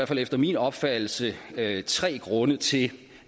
fald efter min opfattelse tre grunde til